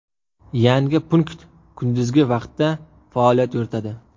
Yangi punkt kunduzgi vaqtda faoliyat yuritadi.